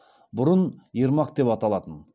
бұрын ермак деп аталатын